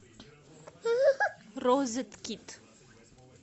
розеткед